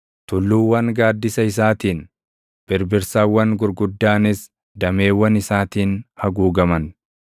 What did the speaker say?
Tulluuwwan gaaddisa isaatiin, birbirsawwan gurguddaanis // dameewwan isaatiin haguugaman.